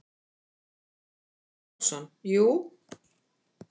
Teitur Arason: Jú.